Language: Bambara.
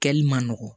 Kɛli man nɔgɔ